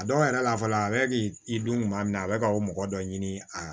A dɔw yɛrɛ la fɔlɔ a bɛ k'i dun tuma min na a bɛ ka o mɔgɔ dɔ ɲini a